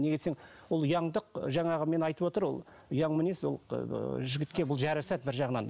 неге десең ол ұяңдық жаңағы мен айтып отыр ол ұяң мінез ол жігітке бұл жарасады бір жағынан